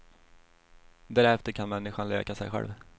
Därefter kan människan läka sig själv.